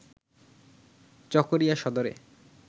চকোরিয়া সদরে